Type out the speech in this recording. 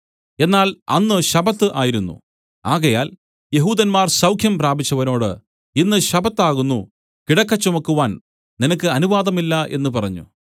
എന്നാൽ അന്ന് ശബ്ബത്ത് ആയിരുന്നു ആകയാൽ യെഹൂദന്മാർ സൌഖ്യം പ്രാപിച്ചവനോട് ഇന്ന് ശബ്ബത്ത് ആകുന്നു കിടക്ക ചുമക്കുവാൻ നിനക്ക് അനുവാദമില്ല എന്നു പറഞ്ഞു